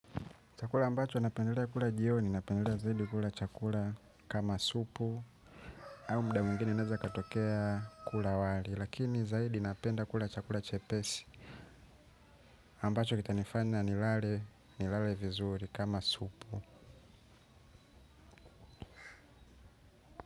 Chakula ambacho napendelea kula jioni, napendelea zaidi kula chakula kama supu au muda mwigine naeza katokea kula wali lakini zaidi napenda kula chakula chepesi ambacho kita nifanya nilale vizuri kama supu.